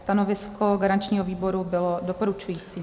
Stanovisko garančního výboru bylo doporučující.